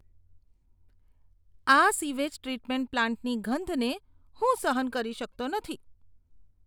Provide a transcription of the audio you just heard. આ sewage treatment પ્લાન્ટની ગંધને હું સહન કરી શકતો નથી.